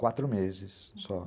Quatro meses só.